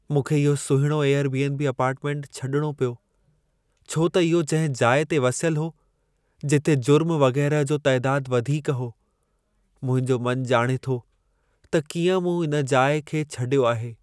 मूंखे इहो सुहिणो एयर बी.एन.बी. अपार्टमेंट छॾिणो पियो, छो त इहो जंहिं जाइ ते वसियल हो, जिथे जुर्म वगै़रह जो तइदादु वधीक हो। मुंहिंजो मन ॼाणे थो त कीअं मूं हुन जाइ खे छडि॒यो आहे।